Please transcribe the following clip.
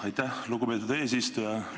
Aitäh, lugupeetud eesistuja!